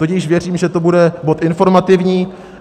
Tudíž věřím, že to bude bod informativní.